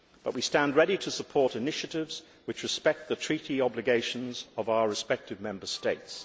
But we stand ready to support initiatives which respect the treaty obligations of our respective Member States.